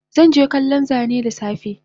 Zanje kallon Zane dasafe